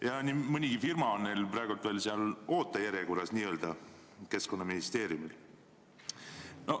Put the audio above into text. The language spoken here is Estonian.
Ja nii mõnigi firma on Keskkonnaministeeriumil praegu veel n-ö ootejärjekorras.